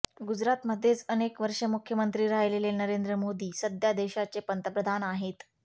गुजरातमध्येच अनेक वर्षे मुख्यमंत्री राहिलेले नरेंद्र मोदी सध्या देशाचे पंतप्रधान आहेत